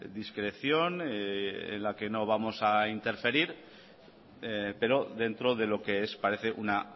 discreción en la que no vamos a interferir pero dentro de lo que es parece una